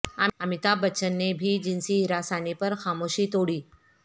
امیتابھ بچن نے بھی جنسی ہراسانی پر خاموشی توڑی